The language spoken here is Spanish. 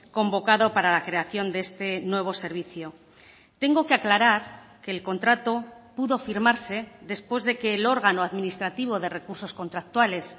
convocado para la creación de este nuevo servicio tengo que aclarar que el contrato pudo firmarse después de que el órgano administrativo de recursos contractuales